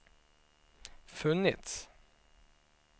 funnits